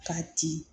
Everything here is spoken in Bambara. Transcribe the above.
K'a ci